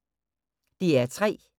DR P3